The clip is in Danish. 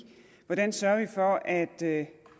at det